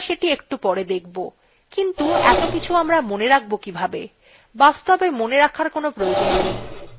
কএকটি commandsকে একত্র করে একসাথে চালানো যেতে পারে আমরা সেটি একটু পরে দেখব কিন্তু এত কিছু আমরা মনে রাখব কিভাবে